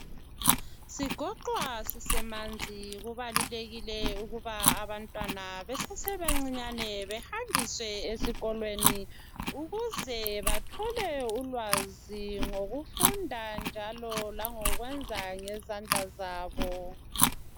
sigoqwa sisemanzi kubalulekile ukuba abantwana besebancinyane behanjiswe esikolweni ukuze bathole ulwazi ngokufunda njalo langokwenza ngezandla zabo